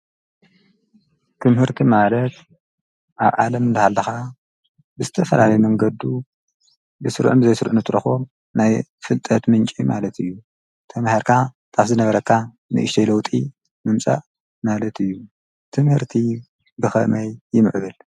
ክምህርቲ ማለት ኣብ ዓለም እንደሃልለኻ ብስተፈላለ መንገዱ ብሥርዕን ዘይሥርዕን ትረኾር ናይ ፍልጠድ ምንቄ ማለት እዩ ተምሃርካ ታፍዝ ነበረካ ምእሽተሎጢ ምምጻእ ማለት እዩ ትምርቲ ብኸመይ ይምዕብል